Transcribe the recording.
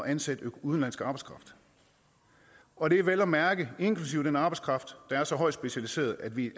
ansætte udenlandsk arbejdskraft og det er vel at mærke inklusive den arbejdskraft der er så højt specialiseret at vi